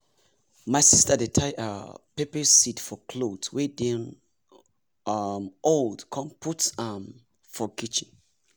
my sister dey tie um pepper seed for cloth wey don um old com put m um for kitchen